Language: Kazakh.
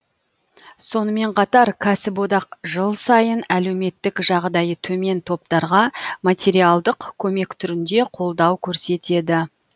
сонымен қатар кәсіподақ жыл сайын әлеуметтік жағдайы төмен топтарға материалдық көмек түрінде қолдау көрсетеді